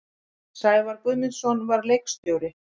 Sævar Guðmundsson var leikstjóri.